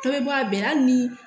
Dɔ bɛ bɔ a bɛɛ la hali ni